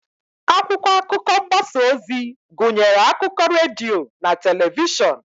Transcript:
Akwụkwọ akụkọ mgbasa ozi gụnyere akụkọ redio na telivishọn.